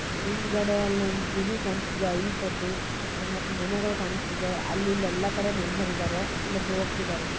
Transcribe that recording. ಹಿಂದಗಡೆ ಒಂದು ಗುಡಿ ಕಾಣಿಸ್ತಾ ಇದೆ ಹೈಟ್ ಅಲ್ಲಿ ಇಲ್ಲಿ ತುಂಬಾ ಮನುಷ್ಯ ಓಡಾಡುತ್ತಿದ್ದಾರೆ ಅವರು ನಿಂತಿದ್ದಾರೆ.